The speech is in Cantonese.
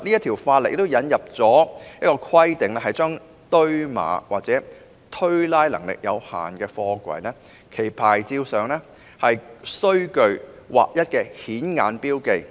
《條例草案》建議規定，堆碼或推拉能力有限的貨櫃，其牌照上須具劃一的顯眼標記。